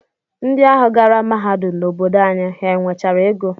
Ndị ahụ gara mahadum n'obodo anyị, ha nwechara ego?